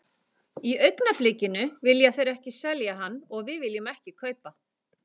Í augnablikinu vilja þeir ekki selja hann og við viljum ekki kaupa.